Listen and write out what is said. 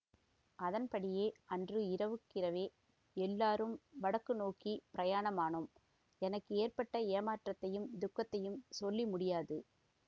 அதன்படியே அன்று இரவுக்கிரவே எல்லோரும் வடக்கு நோக்கி பிரயாணமானோம் எனக்கு ஏற்பட்ட ஏமாற்றத்தையும் துக்கத்தையும் சொல்லி முடியாது